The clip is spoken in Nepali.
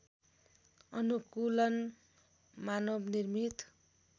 अनुकूलन मानव निर्मित